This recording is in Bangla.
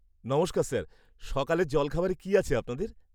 নমস্কার স্যার, সকালের জলখাবারে কি আছে আপনাদের?